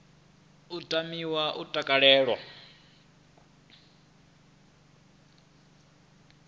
u tamiwa na u takalelwa